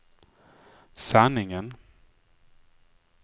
sanningen